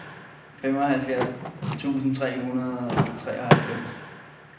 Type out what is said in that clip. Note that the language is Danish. femoghalvfjerds tusind tre hundrede og treoghalvfems